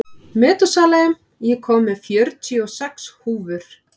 Metúsalem, ég kom með fjörutíu og sex húfur!